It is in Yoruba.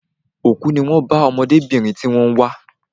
Òkú ní wón bá ọmọdébìnrin tí wón ń wá